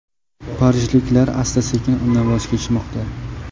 Parijliklar asta-sekin undan voz kechmoqda.